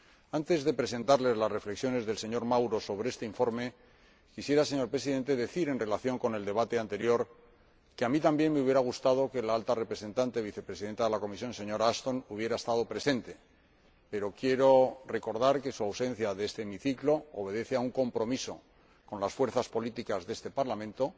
Antes de presentarles las reflexiones del señor Mauro sobre este informe, quisiera, señor Presidente, decir, en relación con el debate anterior, que a mí también me hubiera gustado que la Alta Representante Vicepresidenta de la Comisión, señora Ashton, hubiera estado presente, pero quiero recordar que su ausencia de este hemiciclo obedece a un compromiso con las fuerzas políticas de este Parlamento.